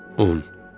10.